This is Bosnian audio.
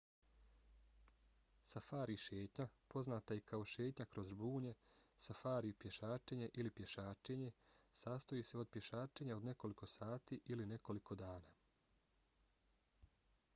safari šetnja poznata i kao šetnja kroz žbunje safari pješačenje ili pješačenje sastoji se od pješačenja od nekoliko sati ili nekoliko dana